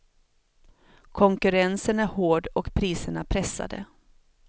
Konkurrensen är hård och priserna pressade.